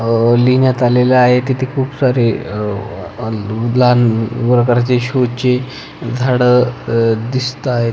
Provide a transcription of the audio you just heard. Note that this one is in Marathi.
अह लिहीण्यात आलेल आहे तिथे खुप सारे अह लहान प्रकारची शो ची झाड अह दिसताहेत.